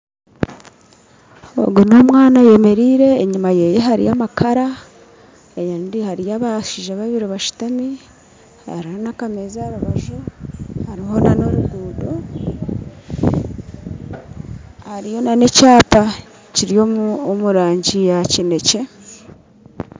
Ogu n'omwana ayemeriire, enyuma hariyo amakara ahandi hariyo abashiija babiri basitami hariho nakameza harubaju hariho nano ruguudo hariyo nane kyapa kiri omu murangi ya kinekye